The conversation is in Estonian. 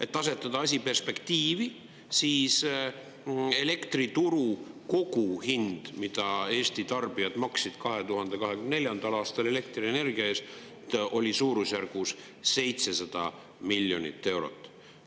Et asetada asi perspektiivi, siis elektrituru koguhind, mida Eesti tarbijad maksid 2024. aastal elektrienergia eest, oli suurusjärgus 700 miljonit eurot.